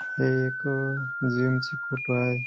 हे एक जिम ची फोटो आहे.